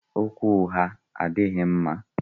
Okwu ụgha adịghị mma.